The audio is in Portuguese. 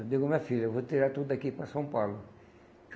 Eu digo, minha filha, eu vou tirar tudo daqui e ir para São Paulo.